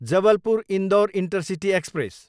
Jabalpur, Indore intercity express